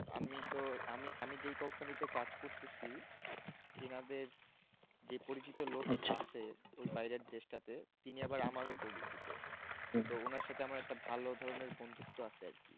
আমি তো আমি আমি যেই company তে কাজ করতেছি ইনাদের যে পরিচিত লোক আছে ওই বাইরে দেশটাতে তিনি আবার আমারও পরিচিত তো উনার সাথে আমার একটা ভালো ধরনের বন্ধুত্ব আছে আর কি